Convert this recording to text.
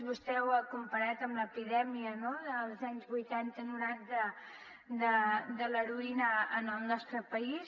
vostè ho ha comparat amb l’epidèmia dels anys vuitanta noranta de l’heroïna en el nostre país